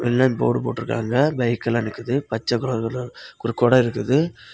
எல்ல போர்டு போட்டிருக்காங்க பைக் எல்லா நிக்குது பச்ச கலர் ஒரு கோட இருக்குது.